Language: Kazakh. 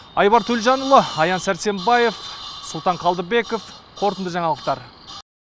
айбар төлжанұлы аян сәрсенбаев сұлтан қалдыбеков қорытынды жаңалықтар